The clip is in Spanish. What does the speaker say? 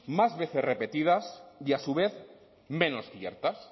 más veces repetidas y a su vez menos ciertas